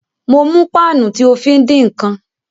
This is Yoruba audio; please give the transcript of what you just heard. Mo mú páànù tí o fí ń dín ǹkan